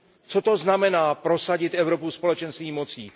Co to znamená prosadit Evropu Společenství mocí?